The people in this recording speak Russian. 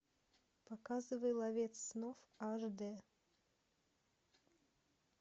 показывай ловец снов аш дэ